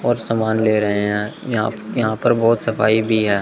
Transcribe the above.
और सामान ले रहे हैं यहां यहां पर बहोत सफाई भी है।